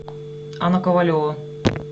анна ковалева